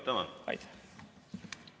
Tänan!